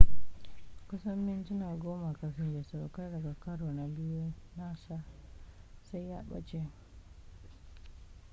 kusan mintuna goma kafin ya saukar daga karo na biyu nasa sai ya ɓace